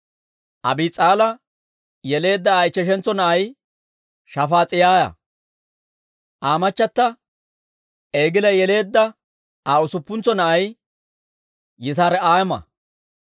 Abiis'aala yeleedda Aa ichcheshantso na'ay Shafaas'iyaa. Aa machata Egila yeleedda Aa usuppuntsa na'ay Yitira'aama.